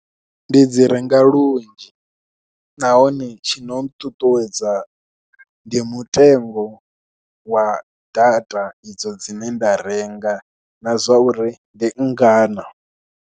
Ndi dzi renga lunzhi nahone tshi no nṱuṱuwedza ndi mutengo wa data idzo dzine nda renga na zwa uri ndi nngana.